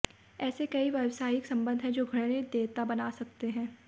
ऐसे कई व्यावसायिक संबंध हैं जो घृणित देयता बना सकते हैं